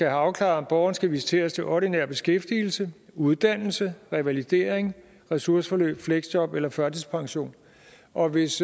afklaret om borgeren skal visiteres til ordinær beskæftigelse uddannelse revalidering ressourceforløb fleksjob eller førtidspension og hvis